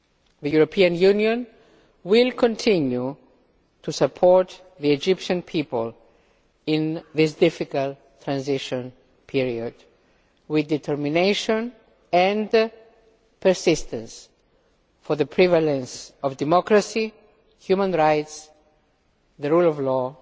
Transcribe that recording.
The European Union will continue to support the Egyptian people in this difficult transition period with determination and persistence for the prevalence of democracy, human rights, the rule of law